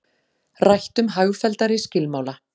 Rætt um hagfelldari skilmála